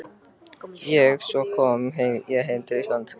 En svo kom ég heim til Íslands.